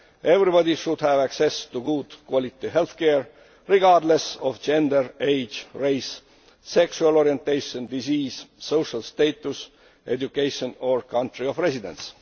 Everybody should have access to high quality healthcare, regardless of gender, age, race, sexual orientation, disease, social status, education or country of residence.